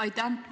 Aitäh!